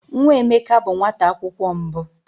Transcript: Nwa Emeka bụ nwata akwụkwọ mbụ.